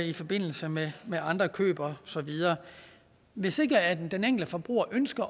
i forbindelse med med andre køb og så videre hvis ikke den enkelte forbruger ønsker